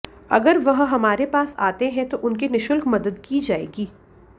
अगर वह हमारे पास आते हैं तो उनकी निशुल्क मदद की जाएगी